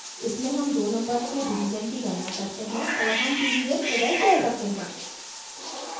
इसमें हम दो numbers के division की गणना करते हैं और हम division प्रदर्शित करते हैं